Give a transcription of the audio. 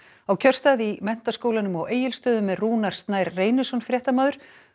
á kjörstað í Menntaskólanum á Egilsstöðum er Rúnar Snær Reynisson fréttamaður